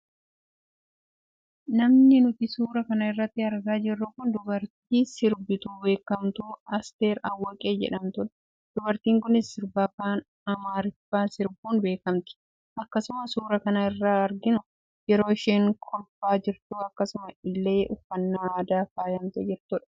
Namni nuti suura kana irratti argaa jirru kun dubartii sirbituu beekamtuu Aster Awaqee jedhamtudha. Dubartiin kunis sirba afaan amaariffaan sirbuun beekamti. Akkasuma suura kana irra arginu yeroo isheen kolfaa jirtu akkasuma illee uffannaa aadaan faayamtee jirtudha.